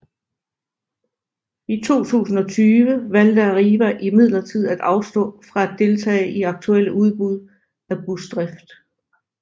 I 2020 valgte Arriva imidlertid at afstå fra at deltage i aktuelle udbud af busdrift